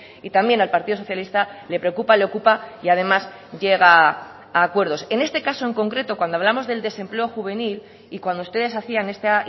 y también al partido socialista le preocupa le ocupa y además llega a acuerdos en este caso en concreto cuando hablamos del desempleo juvenil y cuando ustedes hacían esta